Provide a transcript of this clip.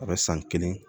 A bɛ san kelen